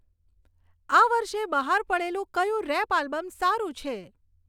આ વર્ષે બહાર પડેલું કયું રેપ આલ્બમ સારું છે